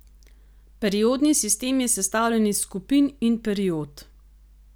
Periodni sistem je sestavljen iz skupin in period.